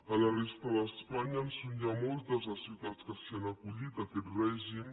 a la resta d’espanya en són ja moltes les ciutats que s’hi han acollit a aquest règim